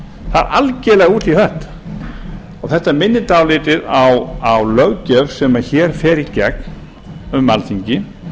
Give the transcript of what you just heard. það er algerlega út í hött og þetta minnir dálítið á löggjöf sem hér fer í gegnum alþingi